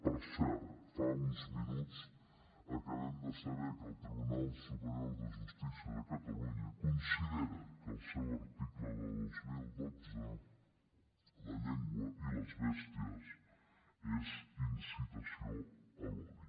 per cert fa uns minuts acabem de saber que el tribunal superior de justícia de catalunya considera que el seu article de dos mil dotze la llengua i les bèsties és incitació a l’odi